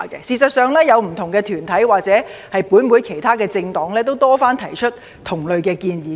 事實上，不同團體或本會其他政黨也曾多次提出同類建議。